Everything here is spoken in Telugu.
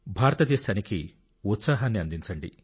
భారతదేశానికి ఉత్సాహాన్ని అందించండి